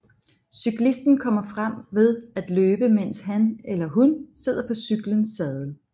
Cyklisten kommer frem ved at løbe mens han eller hun sidder på cyklens saddel